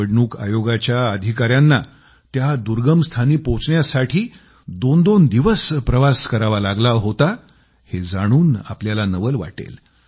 निवडणूक आयोगाच्या अधिकाऱ्यांना त्या दुर्गम स्थानी पोहोचण्यासाठी दोनदोन दिवस प्रवास करावा लागला होता हे जाणून आपल्याला नवल वाटेल